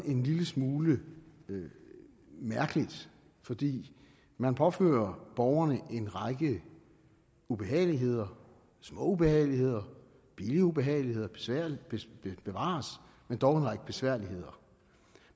en lille smule mærkeligt fordi man påfører borgerne en række ubehageligheder små ubehageligheder billige ubehageligheder bevares men dog en række besværligheder